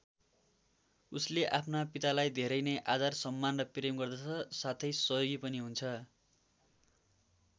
उसले आफ्ना पितालाई धेरै नै आदर सम्मान र प्रेम गर्दछ साथै सहयोगी पनि हुन्छ।